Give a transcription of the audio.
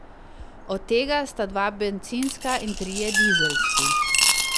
Od tega sta dva bencinska in trije dizelski.